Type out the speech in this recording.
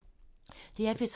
DR P3